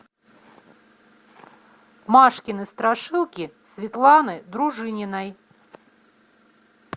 машкины страшилки светланы дружининой